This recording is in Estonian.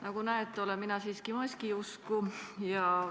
Nagu näete, olen mina siiski maskiusku.